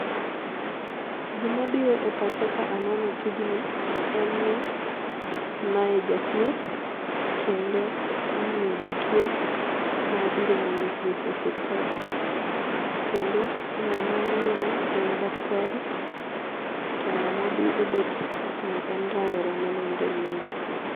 Gima biro e pacha ka aneno tijni en ni mae jathieth kendo ong'iyo jatuo ma obiro manyo thieth e osiptal, kendo ngama miyono en daktari to ngama obetno en rawera manenore ni en jatuo .